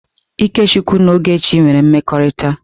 Ikechukwu na Ogechi nwere mmekọrịta.